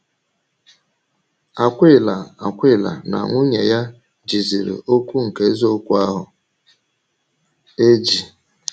Akwịla Akwịla na nwunye ya ‘jìzìrí okwu nke eziokwu ahụ eji.’